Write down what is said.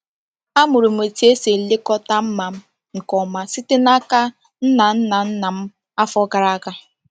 Amụrụ m otú esi elekọta mma m nke ọma site n'aka nna nna nna m afọ gara aga.